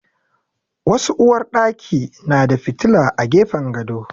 Wasu uwarɗaki na da fitila a gefen gado.